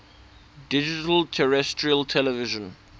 digital terrestrial television